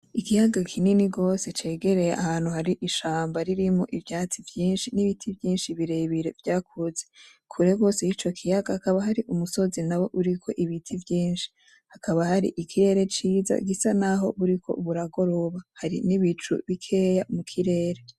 Ikiyaga kinini gose cegereye ahantu hari ishamba ririmwo ivyatsi vyinshi n'ibiti vyinshi birebire vyakuze. Kuregose yico kiyaga hakaba hari umusozi nawo uriko ibiti vyinshi hakaba hari ikirere ciza gisa naho buriko buragoroba. Hari n'ibicu bikeye mukirere.